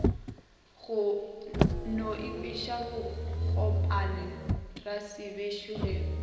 no ikhwiša bogompane rasebešo ge